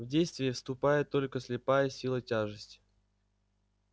в действие вступает только слепая сила тяжести